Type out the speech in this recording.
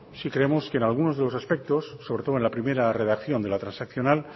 sí creemos que en algunos de los aspectos sobre todo en la primera redacción de la transaccional